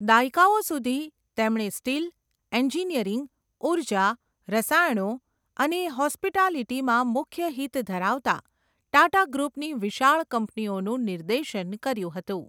દાયકાઓ સુધી, તેમણે સ્ટીલ, એન્જિનિયરિંગ, ઉર્જા, રસાયણો અને હોસ્પિટાલિટીમાં મુખ્ય હિત ધરાવતા ટાટા ગ્રૂપની વિશાળ કંપનીઓનું નિર્દેશન કર્યું હતું.